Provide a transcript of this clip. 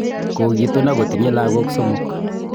Kogitun ako tinye lagok somok